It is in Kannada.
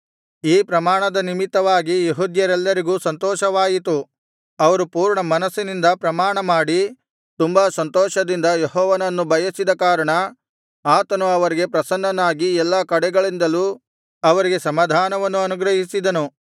ಈ ಪ್ರಮಾಣದ ನಿಮಿತ್ತವಾಗಿ ಯೆಹೂದ್ಯರೆಲ್ಲರಿಗೂ ಸಂತೋಷವಾಯಿತು ಅವರು ಪೂರ್ಣಮನಸ್ಸಿನಿಂದ ಪ್ರಮಾಣಮಾಡಿ ತುಂಬಾ ಸಂತೋಷದಿಂದ ಯೆಹೋವನನ್ನು ಬಯಸಿದ ಕಾರಣ ಆತನು ಅವರಿಗೆ ಪ್ರಸನ್ನನಾಗಿ ಎಲ್ಲಾ ಕಡೆಗಳಿಂದಲೂ ಅವರಿಗೆ ಸಮಾಧಾನವನ್ನು ಅನುಗ್ರಹಿಸಿದನು